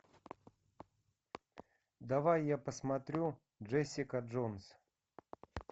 давай я посмотрю джессика джонс